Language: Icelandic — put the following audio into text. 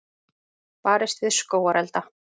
Barist við skógarelda